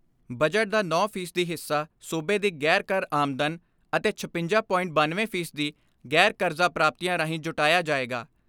Budget ਦਾ ਨੌਂ ਫ਼ੀ ਸਦੀ ਹਿੱਸਾ ਸੂਬੇ ਦੀ ਗ਼ੈਰ ਕਰ ਆਮਦਨ ਅਤੇ ਛਪੰਜਾ.ਬਨਵੇਂ ਫ਼ੀ ਸਦੀ ਗ਼ੈਰ ਕਰਜ਼ਾ ਪ੍ਰਾਪਤੀਆਂ ਰਾਹੀਂ ਜੁਟਾਇਆ ਜਾਏਗਾ।